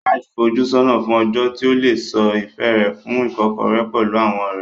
Raj ń fojú sọ́nà fún ọjọ́ tí ó lè sọ ìfẹ́ rẹ̀ fún Ìkọ́kọ̀rẹ́ pẹ̀lú àwọn ọ̀rẹ́.